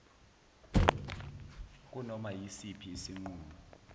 kunoma yisiphi isinqumo